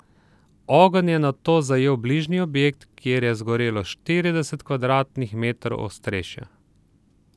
Ogenj je nato zajel bližnji objekt, kjer je zgorelo štirideset kvadratnih metrov ostrešja.